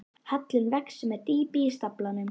Hallinn vex með dýpi í staflanum.